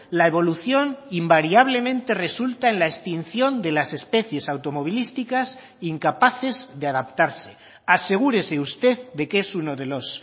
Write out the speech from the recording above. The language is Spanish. la evolución invariablemente resulta en la extinción de las especies automovilísticas incapaces de adaptarse asegúrese usted de que es uno de los